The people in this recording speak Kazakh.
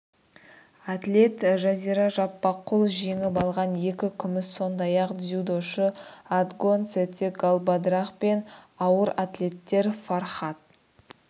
атлет жазира жаппарқұл жеңіп алған екі күміс сондай-ақ дзюдошы отгонцэцэг галбадрах пен ауыр атлеттер фархад